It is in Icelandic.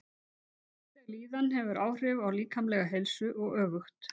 Andleg líðan hefur áhrif á líkamlega heilsu og öfugt.